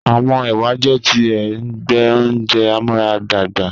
Awọn ewa jẹ ti ẹgbẹ ounjẹ amuaradagba